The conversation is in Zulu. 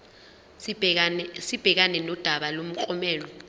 sibhekane nodaba lomklomelo